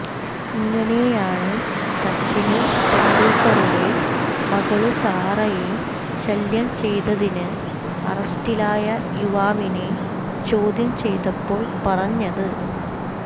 ഇങ്ങനെയാണ് സച്ചിന് തെന്ഡുല്ക്കറുടെ മകള് സാറയെ ശല്യം ചെയ്തതിന് അറസ്റ്റിലായ യുവാവിനെ ചോദ്യം ചെയ്തപ്പോൾ പറഞ്ഞത്